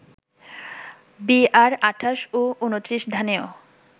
বিআর-২৮ ও ২৯ ধানেও